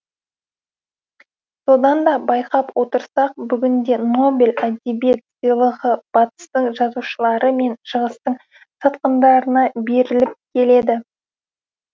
содан да байқап отырсақ бүгінде нобель әдебиет сыйлығы батыстың жазушылары мен шығыстың сатқындарына беріліп келеді